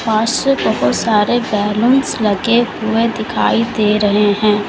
पास से बहोत सारे बैलूनस लगे हुए दिखाई दे रहे हैं।